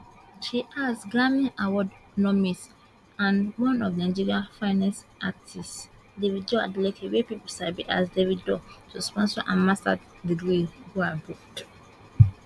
she ask grammy award nomis and one of nigeria finest artiste David Adeleke wey pipo sabi as Davido to sponsor her masters degree go abroad